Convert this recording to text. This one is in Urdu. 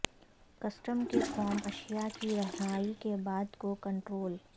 کسٹم کے فارم اشیا کی رہائی کے بعد کو کنٹرول